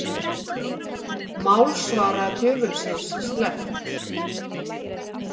Málsvara djöfulsins sleppt